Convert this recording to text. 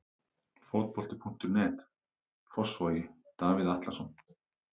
Fótbolti.net, Fossvogi- Davíð Atlason.